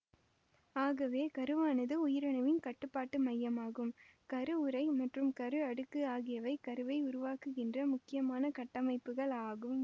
ஆகவே கருவானது உயிரணுவின் கட்டுப்பாட்டு மையமாகும் கரு உறை மற்றும் கரு அடுக்கு ஆகியவை கருவை உருவாக்குகின்ற முக்கியமான கட்டமைப்புகள் ஆகும்